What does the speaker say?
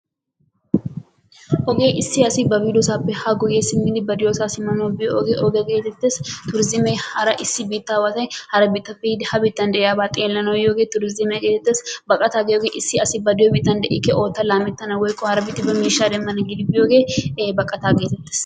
Hege issi asi ba bidiyosappe ha guyee simidi ba diyo saa simanawu biyoge ogee getetees. Turizimme issi biitawatti hara biittappe yiidi ha biittan deiyaba xeelanawu yiyogee turizimiyaa getettes. Baqatta giyoge issi asi ba de'iyo biittan dikke giiddi woyko ootta lametana giidi hara biittaa miishaa demmana giiddi biyooge baqatta geetettes.